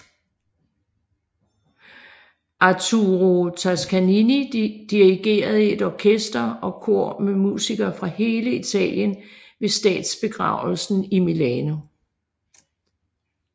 Arturo Toscanini dirigerede et orkester og kor med musikere fra hele Italien ved statsbegravelsen i Milano